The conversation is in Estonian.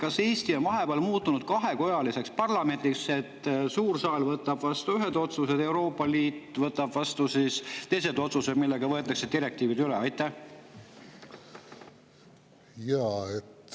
Kas Eesti parlament on vahepeal muutunud kahekojaliseks, nii et suur saal võtab vastu ühed otsused ja võtab vastu teised otsused, mille alusel võetakse direktiivid üle?